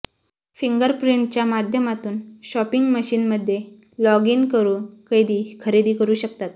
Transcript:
finger प्रिंटच्या माध्यमातून shopping मशीनमध्ये लॉग इन करुन कैदी खरेदी करु शकतात